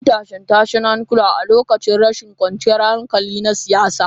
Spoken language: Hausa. An yi tashe-tashen hankula a lokacin rashin kwanciyar hankali na siyasa.